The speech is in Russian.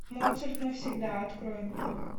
моцарт навсегда открой мне